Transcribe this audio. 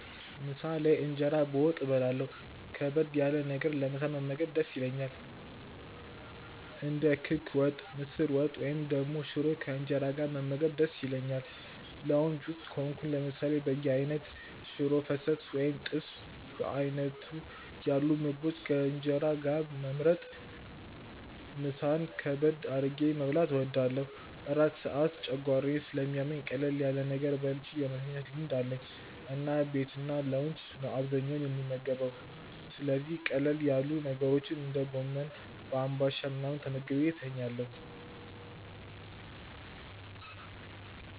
ምሳ ላይ እንጀራ በወጥ በላለሁ ከበድ ያለ ነገር ለምሳ መመገብ ደስ ይለኛል። እንደ ክክ ወጥ፣ ምስር ወጥ፣ ወይም ደግሞ ሽሮ ከእንጀራ ጋር መመገብ ደስ ይለኛል። ላውንጅ ውስጥ ከሆንኩ ለምሳሌ በየአይነት፣ ሽሮ ፈሰስ ወይም ጥብስ በዓይነቱ ያሉ ምግቦችን ከእንጀራ ጋር መምረጥ ምሳን ከበድ አድርጌ መብላት እወዳለሁ። እራት ሰዓት ጨጓራዬን ስለሚያመኝ ቀለል ያለ ነገር በልቼ የመተኛት ልማድ አለኝ እና ቤትና ላውንጅ ነው አብዛኛውን የምመገበው ስለዚህ ቀለል ያሉ ነገሮች እንደ ጎመን በአንባሻ ምናምን ተመግቤ ተኛለሁ።